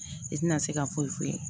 I tɛna se ka foyi foyi foyi